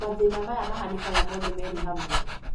Mathĩna maya mahanĩkaga mothe merĩ hamwe.